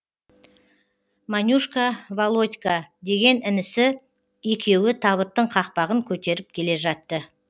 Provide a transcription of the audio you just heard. манюшка володька деген інісі екеуі табыттың қақпағын көтеріп келе жатты